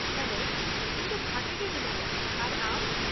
Hello, ᱤᱧ ᱫᱚ ᱵᱷᱟᱜᱮ ᱜᱮ ᱢᱤᱱᱟ.ᱧᱟ ᱟᱨ ᱟᱢ ?